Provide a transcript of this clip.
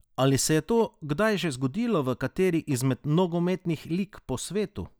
Ali se je to kdaj že zgodilo v kateri izmed nogometnih lig po svetu?